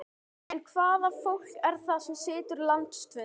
En hvaða fólk er það sem situr landsfund?